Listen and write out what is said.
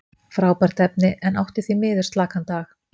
Frábært efni, en átti því miður slakan dag.